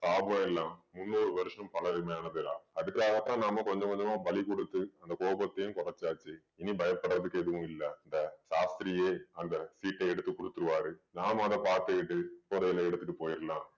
சாபம் எல்லாம் முந்நூறு வருஷம் பழமை ஆனதுதான் அதுக்காகத்தான் நாம கொஞ்சம் கொஞ்சமா பலி கொடுத்து அந்த கோபத்தையும் குறைச்சாச்சு இனி பயப்படறதுக்கு எதுவும் இல்ல இந்த சாஸ்திரியே அந்த சீட்டை எடுத்து குடுத்துருவாரு நாம அத பாத்துக்கிட்டு புதையலை எடுத்துட்டு போயிரலாம்